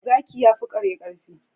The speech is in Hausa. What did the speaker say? Zaki yafi kare karfi